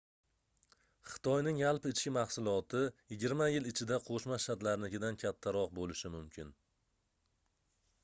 xitoyning yaimi yigirma yil ichida qoʻshma shtatlarinikidan kattaroq boʻlishi mumkin